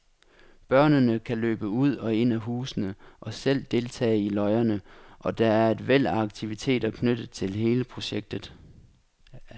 Børnene kan løbe ud og ind i husene og selv deltage i løjerne, og der er et væld af aktiviteter knyttet til hele projektet.